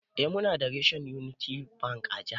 Eh Muna da reshen Unity Bank a jiha namu.